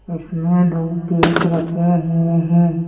इसमें दो केक रखे हुए हैं।